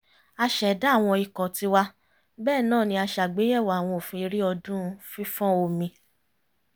a ṣẹ̀dá àwọn ikọ̀ tiwa bẹ́ẹ̀ náà ni a ṣàgbéyẹ̀wò àwọn òfin eré ọdún fífọ́n omi